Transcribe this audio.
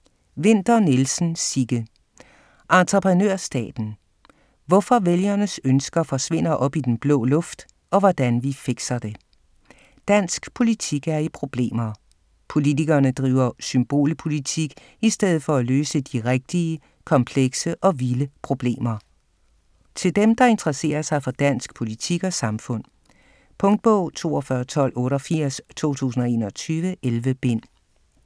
Winther Nielsen, Sigge: Entreprenørstaten: hvorfor vælgernes ønsker forsvinder op i den blå luft - og hvordan vi fikser det Dansk politik er i problemer - politikerne driver symbolpolitik i stedet for at løse de rigtige, komplekse og vilde problemer. Til dem, der interesserer sig for dansk politik og samfund. Punktbog 421288 2021. 11 bind.